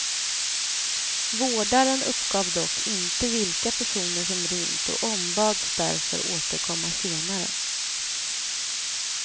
Vårdaren uppgav dock inte vilka personer som rymt och ombads därför återkomma senare.